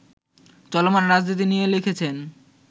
চলমান রাজনীতি নিয়ে লিখেছেন